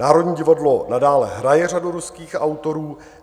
Národní divadlo nadále hraje řadu ruských autorů.